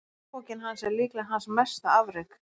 Lögbók hans er líklega hans mesta afrek.